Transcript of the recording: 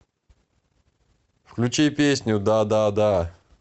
включи песню дадада